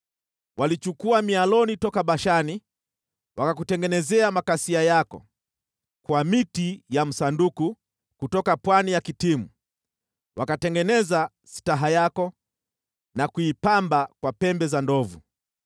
Walichukua mialoni toka Bashani wakakutengenezea makasia yako; kwa miti ya msanduku kutoka pwani ya Kitimu wakatengeneza sitaha yako na kuipamba kwa pembe za ndovu.